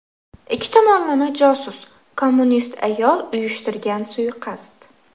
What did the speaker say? Ikki tomonlama josus, kommunist ayol uyushtirgan suiqasd.